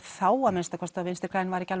þá að minnsta kosti að Vinstri græn væru ekki